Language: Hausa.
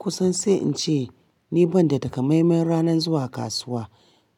Kusan sai in ce ni banda takamanmai ranan zuwa kasuwa.